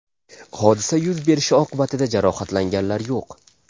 Hodisa yuz berishi oqibatida jarohatlanganlar yo‘q”.